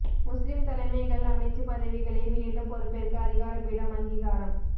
முஸ்லிம் தலைமைகள் அமைச்சு பதவிகளை மீண்டும் பொறுப்பேற்க அதிகார பீடம் அங்கீகாரம்